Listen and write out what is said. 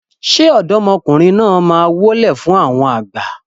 ṣe ọ̀dọ́mọkùnrin náà má wólẹ̀ fún àwọn àgbà?